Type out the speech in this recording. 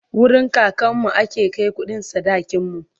wurin kakanmu ake Kai kuɗin sadakin mu